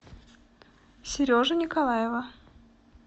сережу николаева